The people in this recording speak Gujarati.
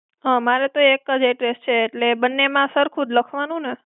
મારે તો એક જ address છે, એટલે બંને માં સરખું જ લખવાનું ને?